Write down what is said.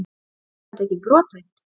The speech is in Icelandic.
Er þetta ekki brothætt?